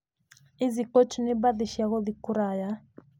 Easy coach nĩ mbathi cia gũthiĩ kũraya.